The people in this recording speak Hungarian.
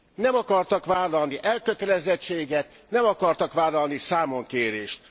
Nem akartak vállalni elkötelezettséget, nem akartak vállalni számonkérést.